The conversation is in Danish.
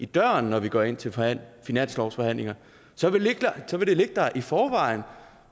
døren når vi går ind til finanslovsforhandlinger så vil det ligge der i forvejen